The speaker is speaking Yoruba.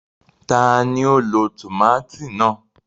Tani o ló tomati náà?